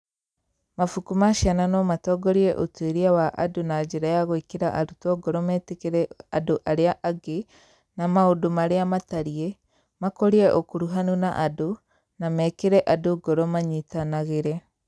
Mabuku ma ciana no matongorie ũtuĩria wa andũ na njĩra ya gwĩkĩra arutwo ngoro metĩkĩre andũ arĩa angĩ na maũndũ marĩa matariĩ, makũrie ũkuruhanu na andũ, na mekĩre andũ ngoro manyitanagĩre.